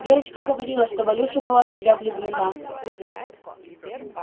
верочка говорила что валюша была в тебя влюблена